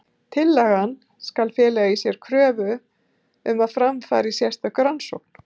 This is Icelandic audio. Tillagan skal fela í sér kröfu um að fram fari sérstök rannsókn.